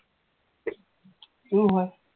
সেইটোও হয়